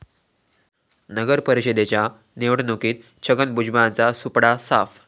नगरपरिषदेच्या निवडणुकीत छगन भुजबळांचा सुपडा साफ